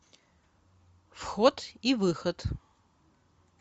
вход и выход